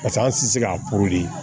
Paseke an tɛ se k'a